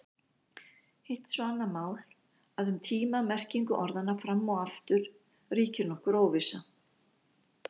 Hitt er svo annað mál að um tíma-merkingu orðanna fram og aftur ríkir nokkur óvissa.